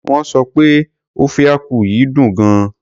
Wón sọ pé ofe akwu yìí dùn gan.